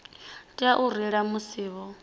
tea u reila musi vho